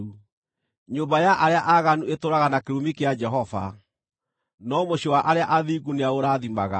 Nyũmba ya arĩa aaganu ĩtũũraga na kĩrumi kĩa Jehova, no mũciĩ wa arĩa athingu nĩaũrathimaga.